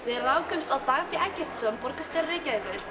við rákumst á Dag b borgarstjóra Reykjavíkur